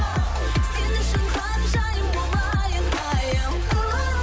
сен үшін ханшайым болайын айым